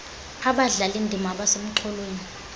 abadlali ndima abasemxholweni